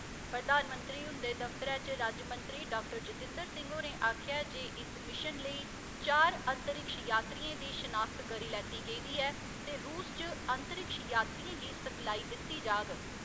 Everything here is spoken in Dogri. प्रधानमंत्री हुंदे दफ्तरै च राज्यमंत्री डाक्टर जतिंदर सिंह होरें आखेआ जे इस मिशन लेई चार अंतरिक्ष यात्रियें दी शनाख्त करी लैती गेदी ऐ ते रूस च अंतरिक्ष यात्रिएं गी सिखलाई दित्ती जाग